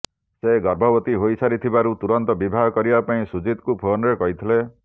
ସେ ଗର୍ଭବତୀ ହୋଇସାରିଥିବାରୁ ତୁରନ୍ତ ବିବାହ କରିବା ପାଇଁ ସୁଜିତଙ୍କୁ ଫୋନରେ କହିଥିଲେ